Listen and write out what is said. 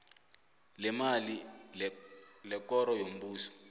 leemali lekoro yombuso